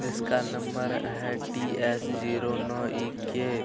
जिसका नंबर है T S. Zero no E K..